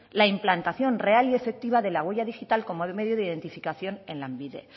la implantación real y efectiva de la huella digital como medio de identificación en lanbide